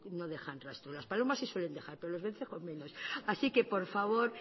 no dejan rastro las palomas sí suelen dejar pero los vencejos no así que por favor